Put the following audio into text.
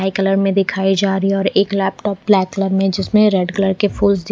कई कलर मे दिखाई जा रही है और एक लैपटॉप ब्लैक कलर मे जिसमे रेड कलर के फूल दिख--